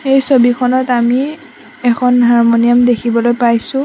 এই ছবিখনত আমি এখন হাৰমনিয়াম দেখিবলৈ পাইছোঁ।